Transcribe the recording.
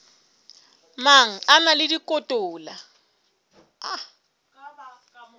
mang a na le dikotola